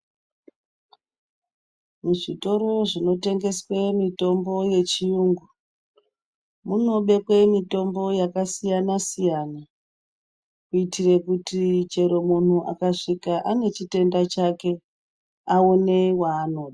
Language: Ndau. Mu zvitoro zvino tengeswe mitombo ye chiyungu munobekwe mitombo yaka siyana siyana kuitire kuti chero munhu aka svika ane chitenda chake awone wanoda.